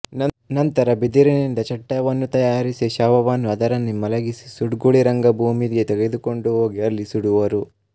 ನಂತರ ಬಿದಿರಿನಿಂದ ಚಟ್ಟವನ್ನು ತಯಾರಿಸಿ ಶವವನ್ನು ಅದರಲ್ಲಿ ಮಲಗಿಸಿ ಸುಡ್ಗುಳಿರಂಗಭೂಮಿಗೆ ತಗೊಂಡು ಹೂಗಿ ಅಲ್ಲಿ ಸುಡುವರು